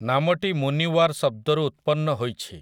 ନାମଟି ମୁନିୱାର୍ ଶବ୍ଦରୁ ଉତ୍ପନ୍ନ ହୋଇଛି ।